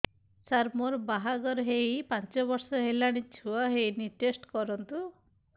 ସାର ମୋର ବାହାଘର ହେଇ ପାଞ୍ଚ ବର୍ଷ ହେଲାନି ଛୁଆ ହେଇନି ଟେଷ୍ଟ କରନ୍ତୁ